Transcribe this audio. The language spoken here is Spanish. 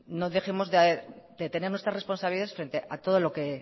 no dejemos de tener nuestra responsabilidad frente a todo lo que